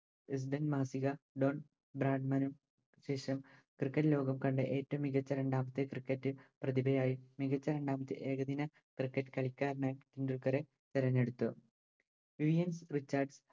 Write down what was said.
Indian മാസിക Don Bradman ശേഷം Cricket ലോകം കണ്ട ഏറ്റോം മികച്ച രണ്ടാമത്തെ Cricket പ്രതിഭയായി മികച്ച രണ്ടാമത്തെ ഏകദിന Cricket കളിക്കാരനായി ടെൻഡുൽക്കറെ തിരഞ്ഞെടുത്തു വിവിയൻ റിച്ചാർഡ്‌സ്